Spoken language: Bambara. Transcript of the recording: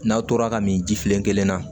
N'a tora ka min ji filen kelen na